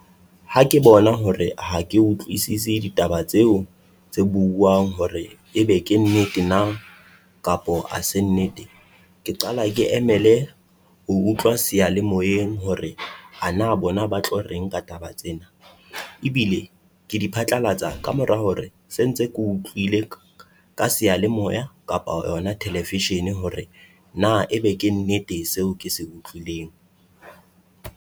Ha ke bona hore ha ke utlwisisi ditaba tseo tse buuang hore ebe ke nnete na kapo ha se nnete, ke qala ke emele ho utlwa sealemoyeng hore ha na bona ba tlo reng ka taba tsena. Ebile ke di phatlalatsa kamora hore se ntse keo utlwile ka sealemoya kapa yona television-e hore na ebe ke nnete seo ke se utlwileng.